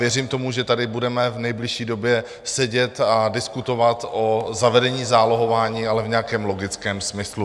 Věřím tomu, že tady budeme v nejbližší době sedět a diskutovat o zavedení zálohování, ale v nějakém logickém smyslu.